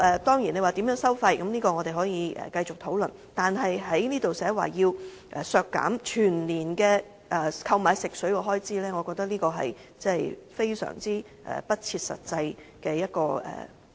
當然，在收費方面我們可以繼續討論，但在修正案提出削減全年購買食水的開支，我覺得是非常不切實際的。